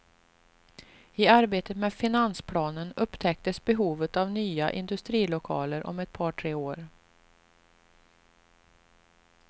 I arbetet med finansplanen upptäcktes behovet av nya industrilokaler om ett par tre år.